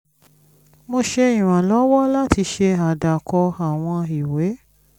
mo ṣe ìrànlọ́wọ́ láti ṣe àdàkọ àwọn ìwé